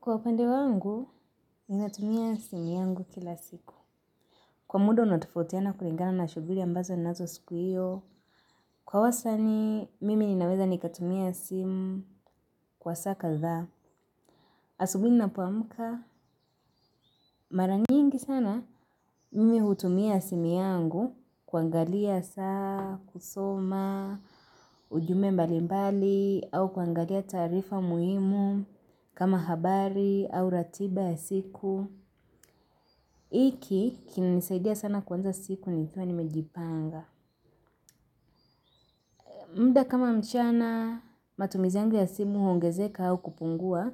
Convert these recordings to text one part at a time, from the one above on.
Kwa upande wangu, ninatumia simu yangu kila siku. Kwa muda, unaotofautiana kulingana na shughuli ambazo ninazo siku hiyo. Kwa wasanii, mimi ninaweza nikatumia simu kwa saa kadhaa. Asubui ninapoamka, mara nyingi sana, mimi hutumia simi yangu, kuangalia saa, kusoma, ujumbe mbali mbali, au kuangalia taarifa muhimu, kama habari, au ratiba ya siku. Iki kinanisaidia sana kuanza siku nikiwa nimejipanga mda kama mchana matumizi yangu ya simu huongezeka au kupungua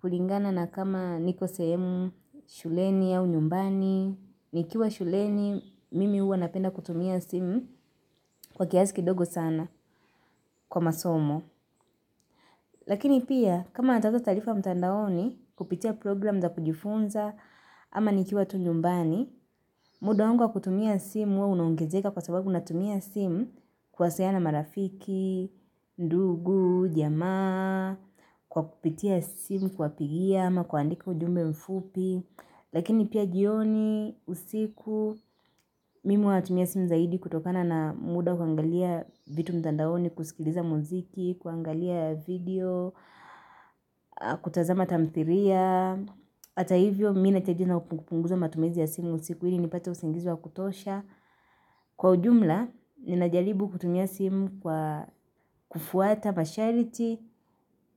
kulingana na kama niko sehemu shuleni au nyumbani nikiwa shuleni mimi uwa napenda kutumia simu kwa kiasi kidogo sana kwa masomo Lakini pia kama natafta taarifa mtandaoni kupitia program za kujifunza ama nikiwa tu nyumbani muda wangu wa kutumia simu unaongezeka kwa sababu natumia simu kuwasiliana na marafiki, ndugu, jamaa, kwa kupitia simu, kuwapigia, ama kuandika ujumbe mfupi. Lakini pia jioni usiku, mimi huwa natumia simu zaidi kutokana na muda kuangalia vitu mtandaoni, kusikiliza muziki, kuangalia video, kutazama tamthiria. Ata hivyo mi naacha jina upunguza matumizi ya simu siku ili nipate usingizi wa kutosha. Kwa ujumla, ninajaribu kutumia simu kwa kufuata, mashariti,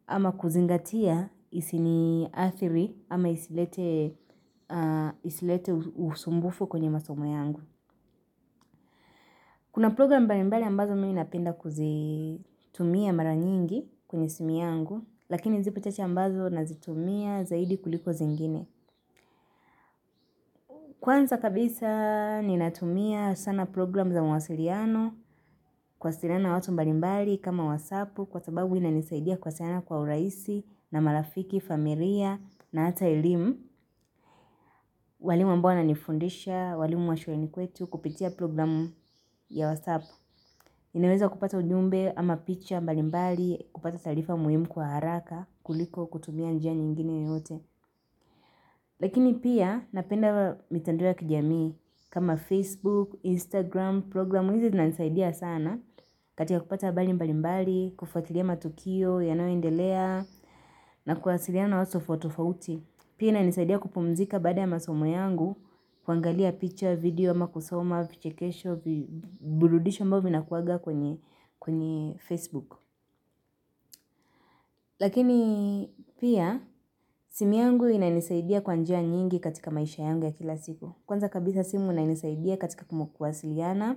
ama kuzingatia isiniadhiri ama isilete usumbufu kwenye masomo yangu. Kuna program mbalimbali ambazo mimi napenda kuzitumia mara nyingi kwenye simu yangu, lakini zipo chache ambazo nazitumia zaidi kuliko zingine. Kwanza kabisa ninatumia sana program za mwasiriano kuwasiriana watu mbalimbali kama wasapu kwa sababu inanisaidia kuwasiriana kwa uraisi na marafiki, famiria na ata elim. Walimu ambao wananifundisha, walimu wa shuleni kwetu kupitia programu ya wasapu. Ninaweza kupata ujumbe ama picha mbalimbali kupata taarifa muhimu kwa haraka kuliko kutumia njia nyingine yeyote. Lakini pia napenda mitandao ya kijamii kama Facebook, Instagram, programu hizi zinanisaidia sana katika kupata habari mbalimbali, kufatilia matukio, yanayoendelea na kuwasiliana na watu tofauti tofauti. Pia inanisaidia kupumzika baada ya masomo yangu kuangalia picture, video, ama kusoma, vichekesho, burudisho ambavyo vinakuwaga kwenye Facebook. Lakini pia simu yangu inanisaidia kwa njia nyingi katika maisha yangu ya kila siku. Kwanza kabisa simu inanisaidia katika kumu kuwasiliana.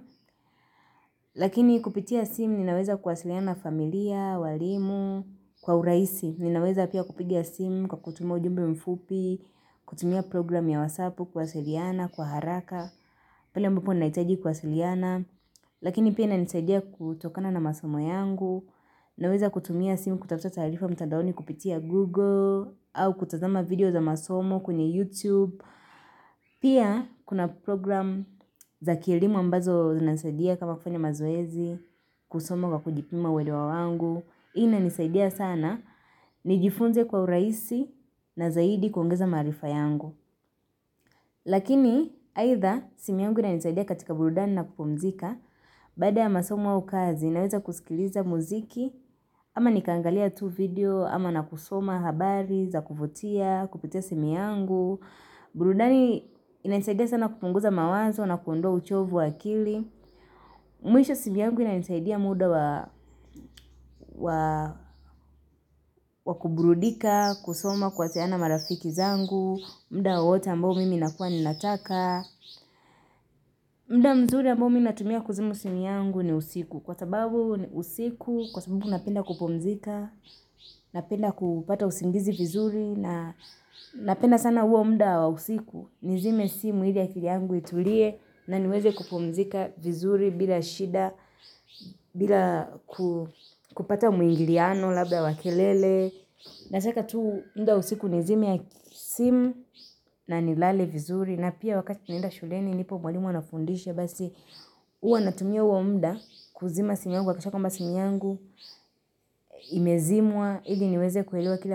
Lakini kupitia simu ninaweza kuwasiliana na familia, walimu, kwa uraisi. Ninaweza pia kupiga simu kwa kutuma ujumbe mfupi, kutumia program ya wasapu kuwasiliana, kwa haraka. Pale ambapo ninahitaji kuwasiliana. Lakini pia inanisaidia kutokana na masomo yangu. Ninaweza kutumia simu kutafta taarifa mtadaoni kupitia Google. Au kutazama video za masomo kwenye YouTube. Pia kuna program za kielimu ambazo zinanisaidia kama kufanya mazoezi kusoma kwa kujipima uelewa wangu inanisaidia sana nijifunze kwa uraisi na zaidi kuongeza maarifa yangu Lakini aitha simi yangu inanisaidia katika burudani na kupumzika Baada ya masoma au kazi naweza kusikiliza muziki ama nikaangalia tu video ama na kusoma habari za kuvutia kupitia simu yangu burudani inanisaidia sana kupunguza mawazo na kuondoa uchovu wa akili Mwisho simu yangu inanisaidia muda wa wa kuburudika, kusoma kuwasiliana na marafiki zangu mda wowote ambao mimi nakua ninataka mda mzuri ambao mi natumia kuzima simu yangu ni usiku Kwa sababu usiku kwa sababu napenda kupumzika Napenda kupata usingizi vizuri na napenda sana huo mda wa usiku Nizime simu ili akili yangu itulie na niweze kupumzika vizuri bila shida bila kupata muingiliano labda wa kelele Nataka tu mda wa usiku nizime ya simu na nilale vizuri na pia wakati naenda shuleni nipo mwalimu anafundishe Basi uwa natumia uo mda kuzima simu yangu nahakikisha kwamba simu yangu Imezimwa ili niweze kuelewa kile amba.